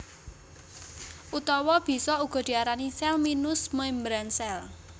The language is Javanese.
Utawa bisa uga diarani sèl minus membran sèl